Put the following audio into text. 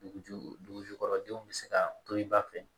Duguju dugukɔrɔ denw bɛ se ka to i ba fɛ